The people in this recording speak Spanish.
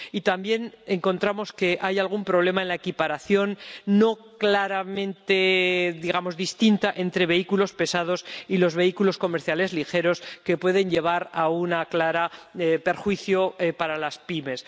También encontramos que hay algún problema en la equiparación, no claramente distinta, entre vehículos pesados y vehículos comerciales ligeros, lo que puede llevar a un claro perjuicio para las pymes